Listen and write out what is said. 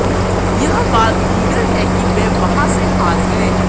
यह बात दीगर है कि वे वहाँ से हार गए